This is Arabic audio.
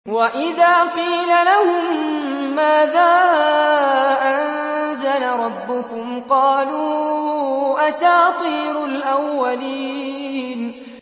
وَإِذَا قِيلَ لَهُم مَّاذَا أَنزَلَ رَبُّكُمْ ۙ قَالُوا أَسَاطِيرُ الْأَوَّلِينَ